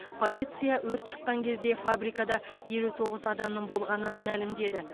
полиция өрт шыққан кезде фабрикада елу тоғыз адамның болғанын мәлімдеді